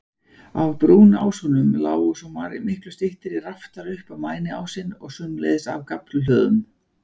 Af brúnásunum lágu svo miklu styttri raftar upp á mæniásinn, og sömuleiðis af gaflhlöðum.